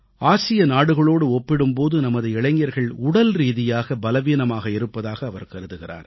ஆசிய நாடுகளோடு ஒப்பிடும் போது நமது இளைஞர்கள் உடல்ரீதியாக பலவீனமாக இருப்பதாக அவர் கருதுகிறார்